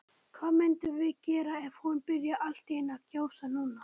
Hvað myndum við gera ef hún byrjaði allt í einu að gjósa núna?